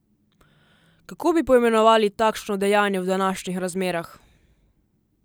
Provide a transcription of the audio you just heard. Kako bi poimenovali takšno dejanje v današnjih razmerah?